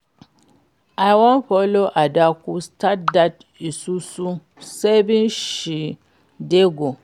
I wan follow Adaku start dat isusu saving she dey do